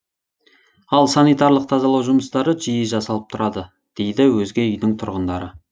ал санитарлық тазалау жұмыстары жиі жасалып тұрады дейді өзге үйдің тұрғындары